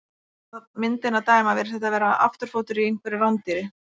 Af myndinni að dæma virðist þetta vera afturfótur á einhverju rándýri.